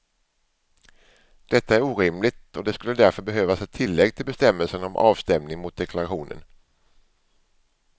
Detta är orimligt och det skulle därför behövas ett tillägg till bestämmelsen om avstämning mot deklarationen.